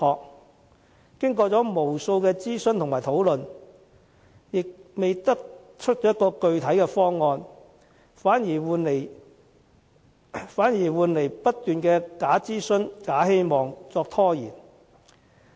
但經過無數次諮詢和討論，也未得出具體方案，反以不斷的"假諮詢、假希望"作拖延。